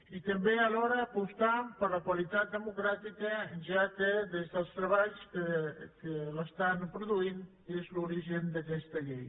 i també alhora apostant per la qualitat democràtica ja que des dels treballs que l’estan produint és l’origen d’aquesta llei